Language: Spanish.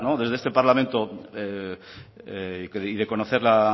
desde este parlamento y de conocer la